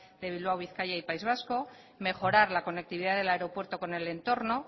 de bilbao bizkaia y país vasco mejorar la conectividad del aeropuerto con el entorno